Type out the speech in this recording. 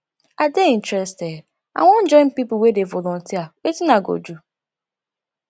i dey interested i wan join pipo wey dey volunteer wetin i go do